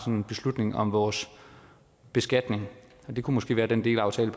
en beslutning om vores beskatning og det kunne måske være den delaftale